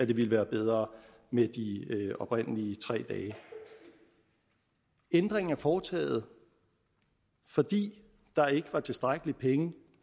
ville være bedre med de oprindelige tre dage ændringen er foretaget fordi der ikke var tilstrækkelige penge